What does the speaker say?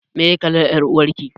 Meye kalar ƴar uwar ki?